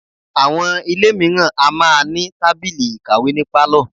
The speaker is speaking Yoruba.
Àwọn ilé mìíràn a máa ní tábìlì ìkàwé ní pálọ̀.